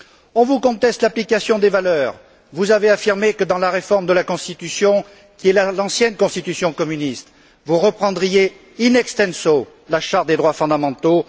On vous conteste l'application des valeurs, vous avez affirmé que, dans la réforme de la constitution, qui est l'ancienne constitution communiste, vous reprendriez in extenso la charte des droits fondamentaux.